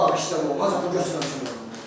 Ha, bağışlama olmaz, bu götürəcək məni.